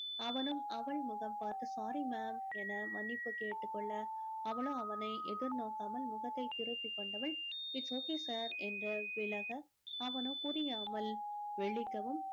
அவனும் அவள் முகம் பார்த்து sorry ma'am என மனிப்புக் கேட்டுக்கொள்ள அவளோ அவனை எதிர்நோக்காமல் முகத்தை திருப்பிக் கொண்டவள் it's okay sir என்று விலக அவனோ புரியாமல் விழிக்கவும்